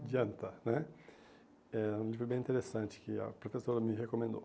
de Anta né Era um livro bem interessante que a professora me recomendou.